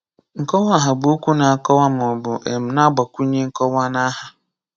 Nkọwaaha bụ okwu na-akọwa maọbụ um na-agbakwụnye nkọwa naha.